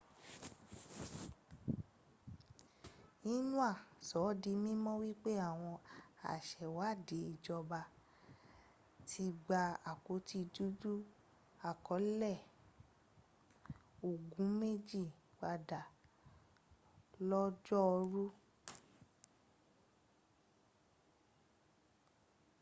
xinhua sọ ọ́ di mímọ̀ wípé àwọn asèwádìí ìjọba ti gba àpótí dúdú àkọọ́lẹ̀ ogun méjì padà lọ́jọ́ọ̀rú